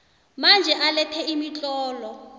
manje alethe imitlolo